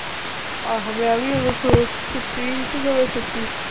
ਆਹੋ ਮੈਂ ਵੀ ਉਦੋਂ ਸੁ ਸੁੱਤੀ ਸੀ, ਉਦੋਂ ਸੁੱਤੀ ਸੀ